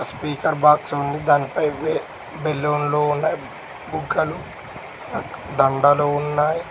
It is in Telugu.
స్పీకర్ బాక్స్ దానిపై బెలూన్ లో ఉన్నవి బుగ్గలు దండలు ఉన్నాయి.